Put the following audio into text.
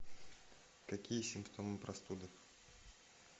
какие симптомы простуды